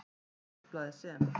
Á minnisblaði, sem